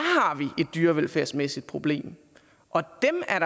har vi et dyrevelfærdsmæssigt problem og